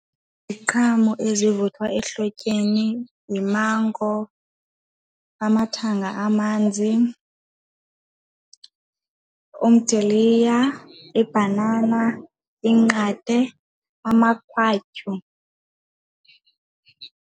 Iziqhamo ezivuthwa ehlotyeni yimango, amathanga amanzi, umdiliya, ibhanana, inqate, amakhwatyu.